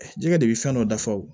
Jɛgɛ de bɛ fɛn dɔ dafa o